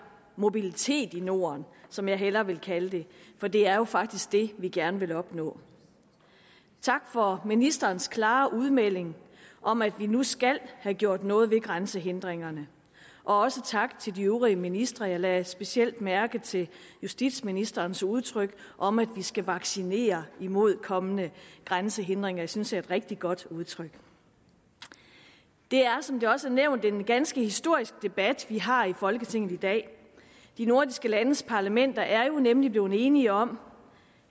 mobilitet i norden som jeg hellere vil kalde det for det er jo faktisk det vi gerne vil opnå tak for ministerens klare udmelding om at vi nu skal have gjort noget ved grænsehindringerne og også tak til de øvrige ministre jeg lagde specielt mærke til justitsministerens udtryk om at vi skal vaccinere imod kommende grænsehindringer det synes jeg er et rigtig godt udtryk det er som det også er nævnt en ganske historisk debat vi har i folketinget i dag de nordiske landes parlamenter er jo nemlig blevet enige om